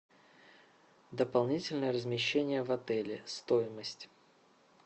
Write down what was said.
дополнительное размещение в отеле стоимость